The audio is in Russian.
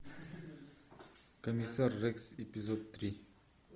комиссар рекс эпизод три